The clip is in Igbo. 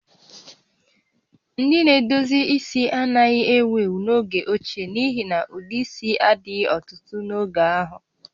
Ndị na-edozi isi anaghị ewu ewu n'oge ochie n'ihi na ụdị isi a dịghị ọtụtụ n'oge ahụ